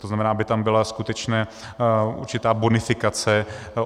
To znamená, aby tam byla skutečně určitá bonifikace.